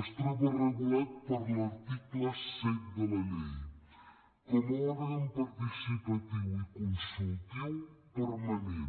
es troba regulat per l’article set de la llei com a òrgan participatiu i consultiu permanent